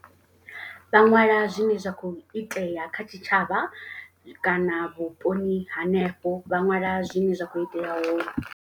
Vha ṅwala zwine zwa kho itea kha tshitshavha. Kana vhuponi hanefho vha ṅwala zwine zwa khou itea hone.